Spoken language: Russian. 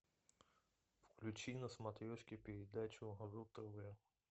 включи на смотрешке передачу ру тв